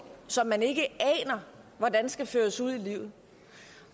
som man ikke aner hvordan skal føres ud i livet